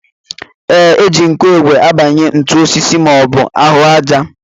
Ee, e ji nkụigwe akụbanye ntu n'osisi maọbụ ahụ àjà